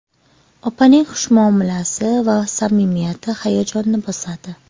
Opaning xush muomalasi va samimiyati hayajonni bosadi.